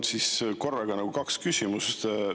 Mul on korraga kaks küsimust.